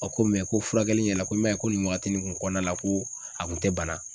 A ko ko furakɛli ɲɛla ko ko nin wagati nin kɔnɔna la ko a kun tɛ bana.